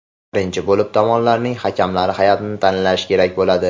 Birinchi bo‘lib tomonlarning hakamlar hay’atini tanlash kerak bo‘ladi.